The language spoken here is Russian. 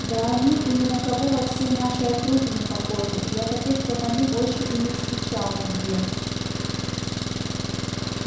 да они и ни на кого во всей нашей округе не похожи я таких как они больше и не встречал нигде